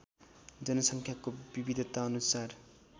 जनसङ्ख्याको विविधताअनुसार